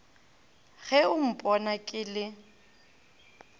ge o mpona ke le